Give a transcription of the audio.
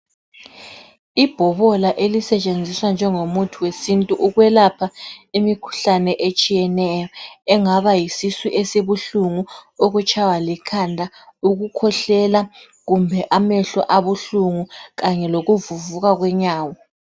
Ibhobola elisetshenziswa njengomuthi wesintu ukwelapha imikhuhlane etshiyeneyo engaba yisisu esibuhlungu, ukutshaywa likhanda, ukukhwehlela kumbe amehlo abuhlungu kanye lokuvuvuka kwenyawo.